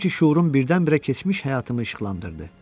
Elə bil sanki şuurum birdən-birə keçmiş həyatımı işıqlandırdı.